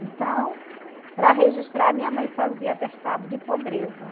Então, para registrar, minha mãe fazia atestado de pobreza.